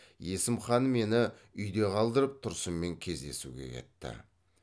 есім хан мені үйде қалдырып тұрсынмен кездесуге кетті